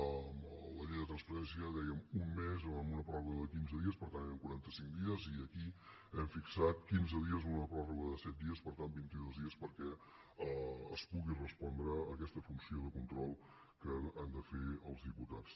a la llei de transparència dèiem un mes o amb una pròrroga de quinze dies per tant eren quarantacinc dies i aquí hem fixat quinze dies i una pròrroga de set dies per tant vintidos dies perquè es pugui respondre a aquesta funció de control que han de fer els diputats